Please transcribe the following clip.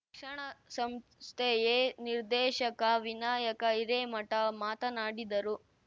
ಶಿಕ್ಷಣ ಸಂಸ್ಥೆಯೆ ನಿರ್ಧೆಶಕ ವಿನಾಯಕ ಹಿರೇಮಠ ಮಾತನಾಡಿದರು